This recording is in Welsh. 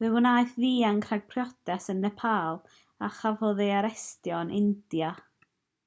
fe wnaeth ddianc rhag priodas yn nepal a chafodd ei arestio yn india